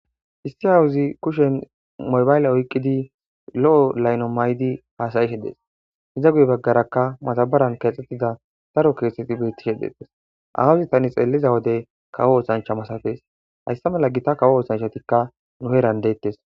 issi awuzi kushen mobayle oyqqidi lo7o layno maydi haasayishe dees iza guye baggarakka madabaran keexxettida daro kirseti beittishe deetes awuzi tani xeeliza wodey kawo oosancha masafees hayssa mala gita kawo oosanchatikka nuheran deettes